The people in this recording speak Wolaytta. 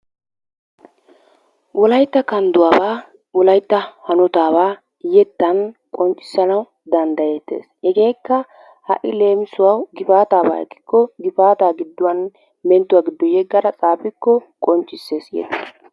Wolaytta kandduwabaa, wolaytta hanotaabaa yettan qonccissanawu danddayettees. Hegeekka ha"i leemisuwawu gifaataabaa ekkikko gifaataa gidduwan menttuwa giddo yeggara xaafikko qonccissees.